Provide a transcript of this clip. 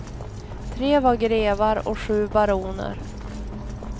Tre var grevar och sju baroner.